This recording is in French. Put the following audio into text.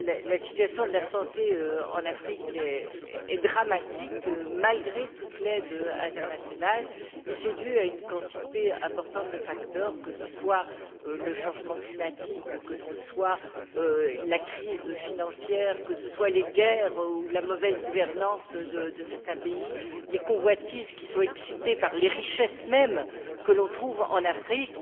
la situation de la santé en Afrique est dramatique malgré toute l'aide internationale et c'est dû à une quantité importante de facteurs, que ce soit le changement climatique, la crise financière, les guerres ou la mauvaise gouvernance de certains pays, les convoitises qui sont excitées par les richesses mêmes que l'on trouve en Afrique.